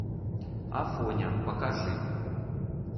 афоня покажи